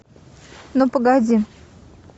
ну погоди